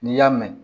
N'i y'a mɛn